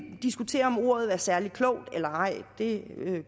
diskutere om ordet er særlig klogt eller ej det